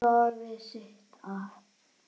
Soðið sigtað.